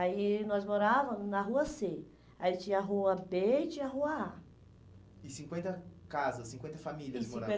Aí nós morávamos na rua cê. Aí tinha a rua bê e tinha a rua á. E cinquenta casas, cinquenta famílias moravam? E